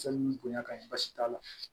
Sabu ni bonya ka ɲi basi t'a la